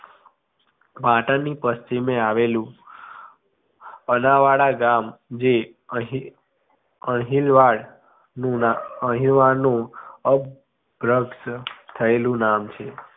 પાટણની પશ્ચિમે આવેલુ અનાવાડા ગામ જે અણહી અણહીલવાડ અણહીલવાડનુ અપગ્રસ્ત થયેલું નામ છે